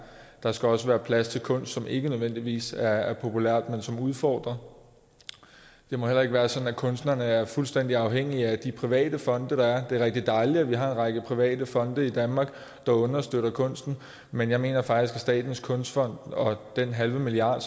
der skal også være plads til kunst som ikke nødvendigvis er populært men som udfordrer det må heller ikke være sådan at kunstnerne er fuldstændig afhængige af de private fonde der er det er rigtig dejligt at vi har en række private fonde i danmark der understøtter kunsten men jeg mener faktisk at statens kunstfond og den halve milliard